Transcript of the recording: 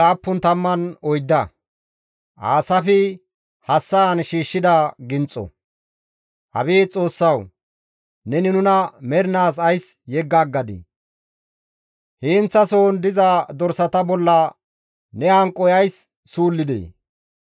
Abeet Xoossawu! Neni nuna mernaas ays yegga aggadii? Heenththasohon diza dorsata bolla ne hanqoy ays suullidee?